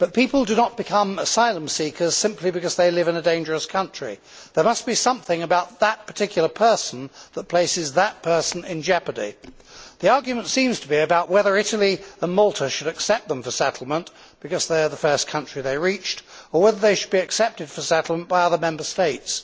But people do not become asylum seekers simply because they live in a dangerous country. There must be something about that particular person that places that person in jeopardy. The argument seems to be about whether Italy or Malta should accept them for settlement because they are the first country they reached, or whether they should be accepted for settlement by other Member States.